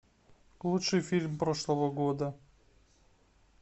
лучший фильм прошлого года